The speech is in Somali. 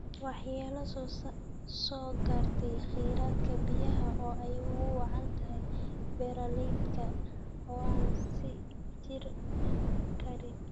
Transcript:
Waxyeello soo gaartay kheyraadka biyaha oo ay ugu wacan tahay beero-beereedka oo aan sii jiri karin.